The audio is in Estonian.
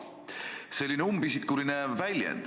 See on selline umbisikuline väljend.